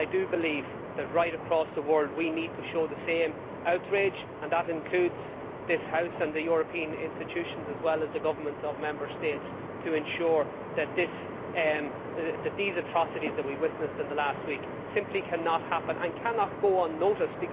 I believe that right across the world we need to show the same outcry and that includes this House and the European Institutions as well as the governments of Member States to ensure that these atrocities that we witnessed in the last week simply cannot happen and cannot go unnoticed.